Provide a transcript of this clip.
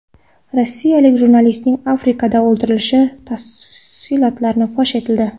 Rossiyalik jurnalistlarning Afrikada o‘ldirilishi tafsilotlari fosh etildi.